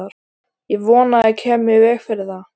Ég vona ég geti komið í veg fyrir það.